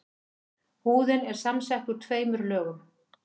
húðin er samsett úr tveimur lögum